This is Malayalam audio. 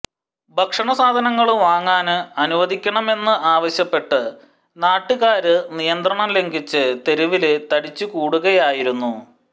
ഭക്ഷണ സാധനങ്ങള് വാങ്ങാന് അനുവദിക്കണമെന്ന് ആവശ്യപ്പെട്ട് നാട്ടുകാര് നിയന്ത്രണം ലംഘിച്ച് തെരുവില് തടിച്ചുകൂടുകയായിരുന്നു